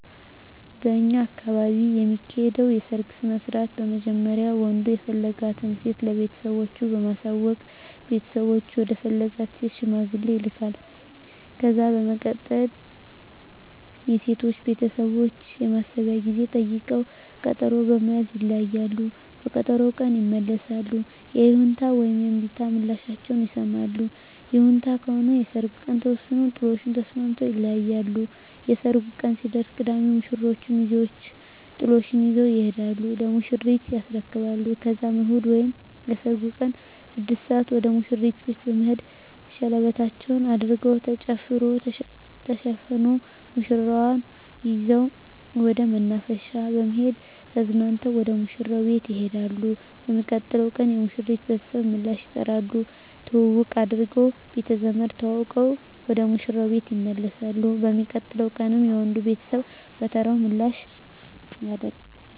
በእኛ አካባቢ የሚካሄደዉ የሰርግ ስነስርአት በመጀመሪያ ወንዱ የፈለጋትን ሴት ለቤተሰቦቹ በማሳወቅ ቤተሰቦቹ ወደ ፈለጋት ሴት ሽማግሌ ይላካል። ከዛ በመቀጠል የሴቶቹ ቤተሰቦች የማሰቢያ ጊዜ ጠይቀዉ ቀጠሮ በመያዝ ይለያያሉ። በቀጠሮዉ ቀን ይመለሱና የይሁንታ ወይም የእምቢታ ምላሻቸዉን ይሰማሉ። ይሁንታ ከሆነ የሰርጉ ቀን ተወስኖ ጥሎሹን ተስማምተዉ ይለያያሉ። የሰርጉ ቀን ሲደርስ ቅዳሜ የሙሽሮቹ ሚዜወች ጥሎሹን ይዘዉ ይሄዱና ለሙሽሪት ያስረክባሉ ከዛም እሁድ ወይም የሰርጉ ቀን 6 ሰአት ወደ ሙሽሪት ቤት በመሄድ ሸለበታቸዉን አድርገዉ ተጨፍሮ ተዘፍኖ ሙሽራዋን ይዘዉ ወደ መናፈሻ በመሄድ ተዝናንተዉ ወደ ሙሽራዉ ቤት ይሄዳሉ። በሚቀጥለዉ ቀን የሙሽሪት ቤተሰብ ምላሽ ይጠሩና ትዉዉቅ አድርገዉ ቤተዘመድ ተዋዉቀዉ ወደ ሙሽራዉ ቤት ይመለሳሉ። በሚቀጥለዉ ቀንም የወንዱ ቤተሰብ በተራዉ ምላሽ ያደ